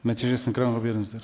нәтижесін экранға беріңіздер